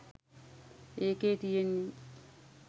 එකේ තියෙනේ